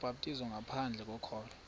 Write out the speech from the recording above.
ubhaptizo ngaphandle kokholo